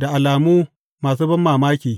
da alamu masu banmamaki.